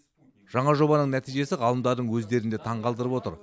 жаңа жобаның нәтижесі ғалымдардың өздерін де таңғалдырып отыр